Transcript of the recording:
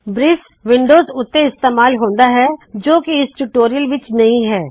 ਬ੍ਰਿਸ Windows ਉੱਤੇ ਇਸਤੇਮਾਲ ਹੁੰਦਾ ਹੈ ਜੋ ਕਿ ਇਸ ਟਯੂਟੋਰਿਯਲ ਵਿੱਚ ਨਹੀ ਹੈ